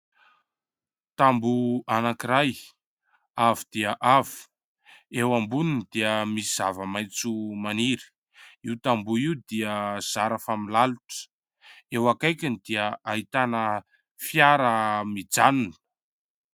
Tamboho anankiray avo dia avo, eo amboniny dia misy zava-maitso maniry, io tamboho io dia zara fa milalitra. Eo akaikiny dia ahitana fiara mijanona.